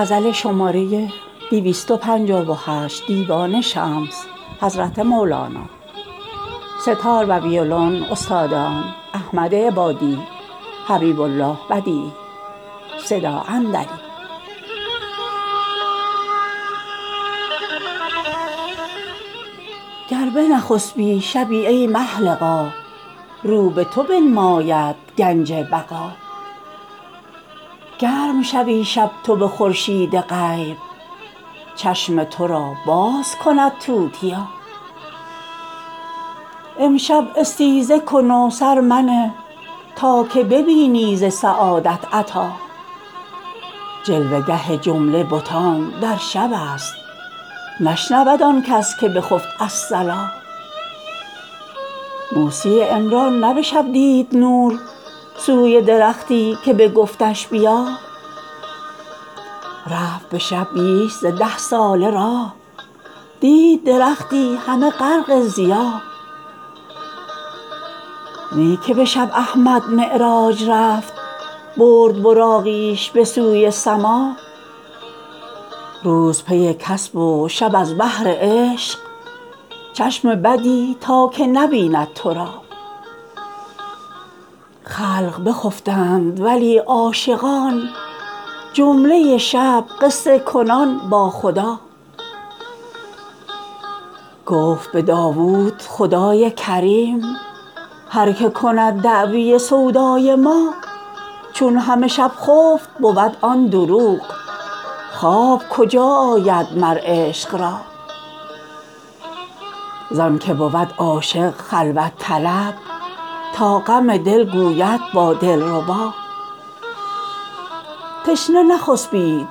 گر بنخسبی شبی ای مه لقا رو به تو بنماید گنج بقا گرم شوی شب تو به خورشید غیب چشم تو را باز کند توتیا امشب استیزه کن و سر منه تا که ببینی ز سعادت عطا جلوه گه جمله بتان در شب است نشنود آن کس که بخفت الصلا موسی عمران نه به شب دید نور سوی درختی که بگفتش بیا رفت به شب بیش ز ده ساله راه دید درختی همه غرق ضیا نی که به شب احمد معراج رفت برد براقیش به سوی سما روز پی کسب و شب از بهر عشق چشم بدی تا که نبیند تو را خلق بخفتند ولی عاشقان جمله شب قصه کنان با خدا گفت به داوود خدای کریم هر کی کند دعوی سودای ما چون همه شب خفت بود آن دروغ خواب کجا آید مر عشق را زان که بود عاشق خلوت طلب تا غم دل گوید با دلربا تشنه نخسپید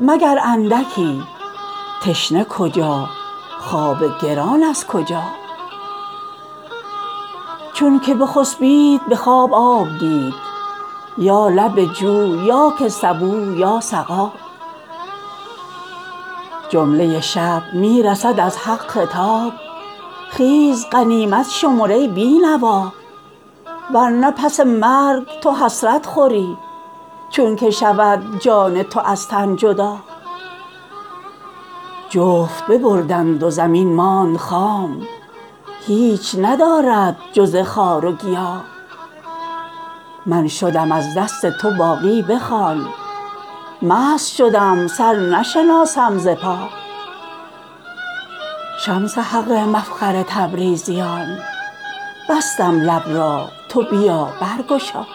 مگر اندکی تشنه کجا خواب گران از کجا چونک بخسپید به خواب آب دید یا لب جو یا که سبو یا سقا جمله شب می رسد از حق خطاب خیز غنیمت شمر ای بی نوا ور نه پس مرگ تو حسرت خوری چونک شود جان تو از تن جدا جفت ببردند و زمین ماند خام هیچ ندارد جز خار و گیا من شدم از دست تو باقی بخوان مست شدم سر نشناسم ز پا شمس حق مفخر تبریز یان بستم لب را تو بیا برگشا